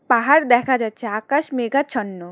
পাহাড় দেখা যাচ্ছে আকাশ মেঘাচ্ছন্ন।